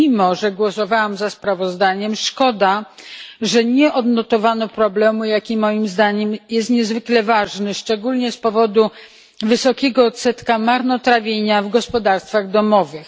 Mimo, że głosowałam za sprawozdaniem, szkoda, że nie odnotowano problemu, jaki, moim zdaniem, jest niezwykle ważny, szczególnie z powodu wysokiego odsetka jej marnotrawienia w gospodarstwach domowych.